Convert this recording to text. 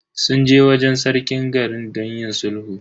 Sun je wajen Sarkin garin don yin sulhu.